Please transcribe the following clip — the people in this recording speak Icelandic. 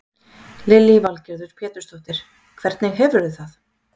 Lillý Valgerður Pétursdóttir: Hvernig hefurðu það?